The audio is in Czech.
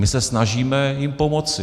My se snažíme jim pomoci.